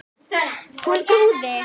Hún trúði